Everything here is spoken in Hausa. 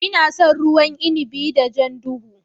Ina son ruwan inibi da jan duhu.